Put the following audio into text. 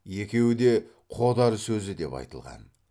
екеуі де қодар сөзі деп айтылған